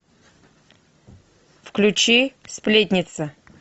включи сплетница